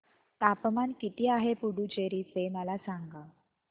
तापमान किती आहे पुडुचेरी चे मला सांगा